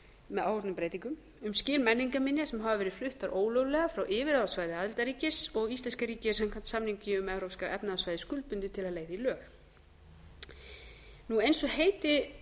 með áorðnum breytingum um skil menningarminja sem hafa verið fluttar ólöglega frá yfirráðasvæði aðildarríkis og íslenska ríkið er samkvæmt samningi um evrópska efnahagssvæðið skuldbundið til að leiða í lög eins og